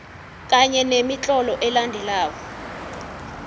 kanye nemitlolo elandelako